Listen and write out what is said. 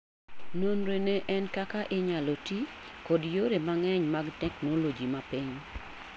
Nonro ne en kaka inyalo ti kod yore mang'eny mag technologi mapiny